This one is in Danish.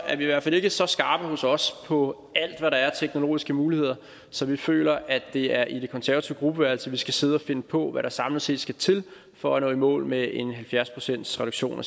i hvert fald ikke så skarpe hos os på alt hvad der er af teknologiske muligheder så vi føler at det er i det konservative gruppeværelse vi skal sidde og finde på hvad der samlet set skal til for at nå i mål med en halvfjerds procentsreduktion af